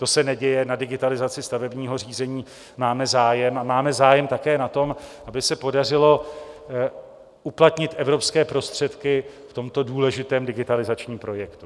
To se neděje, na digitalizaci stavebního řízení máme zájem, a máme zájem také na tom, aby se podařilo uplatnit evropské prostředky v tomto důležitém digitalizačním projektu.